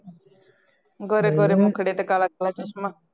ਗੋਰੇ ਗੋਰੇ ਮੁਖੜੇ ਪੇ ਕਾਲਾ ਕਾਲਾ ਚਸ਼ਮਾ